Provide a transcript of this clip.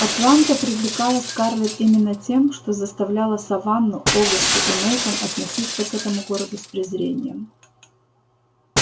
атланта привлекала скарлетт именно тем что заставляло саванну огасту и мейкон относиться к этому городу с презрением